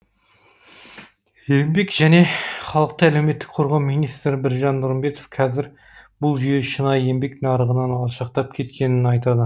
еңбек және халықты әлеуметтік қорғау министрі біржан нұрымбетов қазір бұл жүйе шынайы еңбек нарығынан алшақтап кеткенін айтады